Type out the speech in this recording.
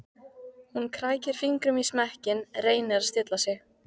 Hún krækir fingrum í smekkinn, reynir að stilla sig.